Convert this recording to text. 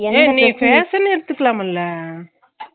அதானால எல்லாமே include எல்லாமே படிச்சு